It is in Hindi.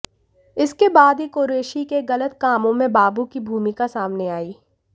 इसके बाद ही कुरैशी के गलत कामों में बाबू की भूमिका सामने आई